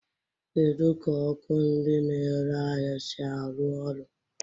Kedu ka ọkụ ndị na-ere ahịa si arụ ọrụ?